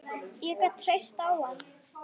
Ég gat treyst á hann.